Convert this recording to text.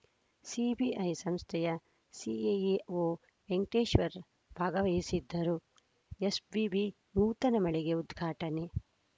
CBI ಸಂಸ್ಥೆಯ ಸಿಎಎಒ ವೆಂಕಟೇಶ್ವರ್‌ ಭಾಗವಹಿಸಿದ್ದರು ಎಸ್ ಬಿಬಿ ನೂತನ ಮಳಿಗೆ ಉದ್ಘಾಟನೆ